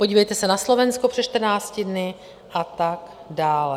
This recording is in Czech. Podívejte se na Slovensko před 14 dny a tak dále.